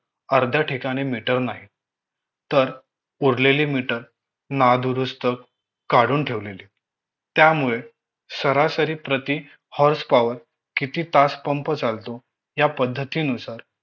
अर्ध्या ठिकाणी meter नाहीत तर उरलेले meter नादुरुस्त काडून ठेवलेले त्यामुळे सरासरी प्रति hours power किती तास पंप चालतो या पद्धतीनुसार